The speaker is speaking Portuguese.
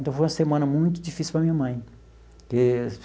Então, foi uma semana muito difícil para a minha mãe.